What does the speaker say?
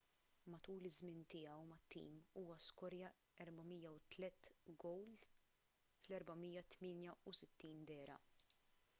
matul iż-żmien tiegħu mat-tim huwa skorja 403 gowl f’468 dehra